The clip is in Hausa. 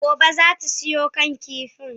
Gobe ​​zata siyo kan kifin?